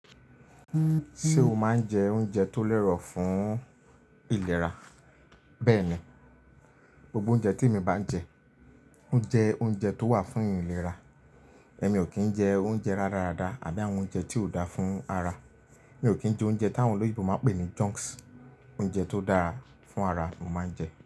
Ṣé o máa ń jẹ oúnjẹ tó lérò fún ìlera? Bẹ́ẹ̀ni, gbogbo oúnjẹ tí mo bá jẹ, ó jẹ oúnjẹ tó wà fún ìlera. Èmi ò kí ń jẹ oúnjẹ rara rada àbí àwọn oúnjẹ tí ò dáa fún ara. Mi ò kí ń jẹ oúnjẹ táwọn olóyèbo máa pè ní junks. Oúnjẹ tó dára fún ara ni mo máa ń jẹ.